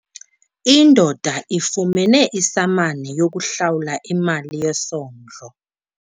Indoda ifumene isamani yokuhlawula imali yesondlo.